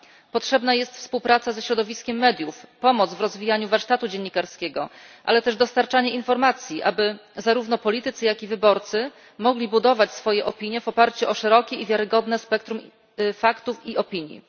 Potrzebna jest współpraca ze środowiskiem mediów, pomoc w rozwijaniu warsztatu dziennikarskiego, ale też dostarczanie informacji, aby zarówno politycy, jak i wyborcy mogli budować swoje opinie w oparciu o szerokie i wiarygodne spektrum faktów i opinii.